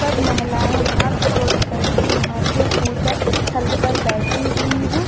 तब महिलाए हाथ जोड़कर के यहाँ पे पूजा स्थल पे बैठी हुई है।